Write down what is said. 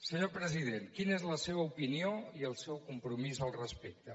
senyor president quina és la seva opinió i el seu compromís al respecte